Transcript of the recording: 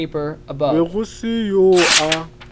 be go se yoo a